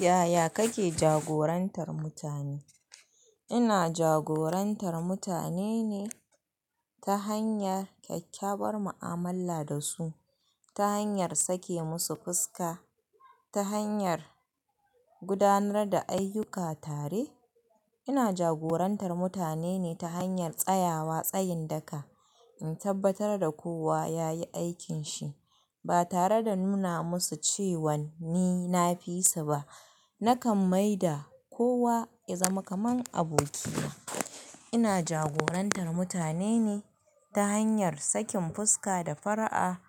Yaya kake jagorantar mutane? Ina jagorantar mutane ne ta hanyar kyakkyawar mu'amala da su, ta hanyar sake musu fuska, ta hanyar gudanar da ayyuka tare. Ina jagorantar mutane ne ta hanyar tsayawa tsayin daka in tabbatar da kowa yayi aikin shi ba tare da nuna musu cewan ni na fi su ba. Nakan maida kowa ya zama kaman abokina. Ina jagorantar mutane ne ta hanyar sakin fuska da fara'a